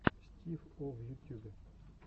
стив о в ютюбе